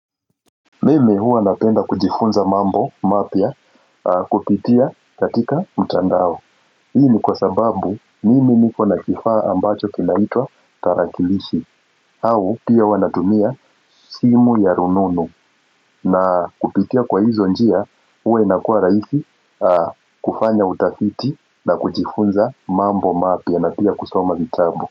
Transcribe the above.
Mimi huwa napenda kujifunza mambo mapya kupitia katika mtandao Hii ni kwa sababu, mimi niko na kifaa ambacho kinaitwa tarakilishi au pia huwa natumia simu ya rununu na kupitia kwa hizo njia huwa inakuwa rahisi kufanya utafiti na kujifunza mambo mapya na pia kusoma vitabu.